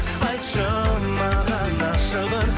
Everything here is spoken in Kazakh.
айтшы маған ашығын